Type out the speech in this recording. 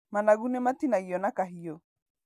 Managu nĩmatinagio na kahiũ.